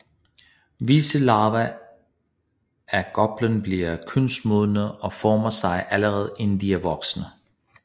Visse larver af goplen bliver kønsmodne og formerer sig allerede inden de er voksne